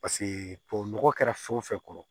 Paseke tubabu nɔgɔ kɛra fɛn o fɛn kɔrɔ